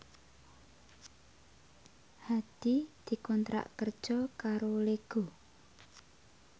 Hadi dikontrak kerja karo Lego